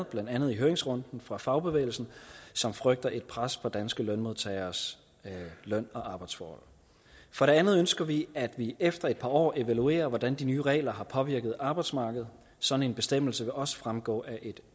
blandt andet i høringsrunden fra fagbevægelsen som frygter et pres på danske lønmodtageres løn og arbejdsforhold for det andet ønsker vi at det efter et par år bliver evalueret hvordan de nye regler har påvirket arbejdsmarkedet sådan en bestemmelse vil også fremgå af et